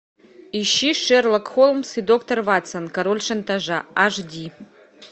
ищи шерлок холмс и доктор ватсон король шантажа аш ди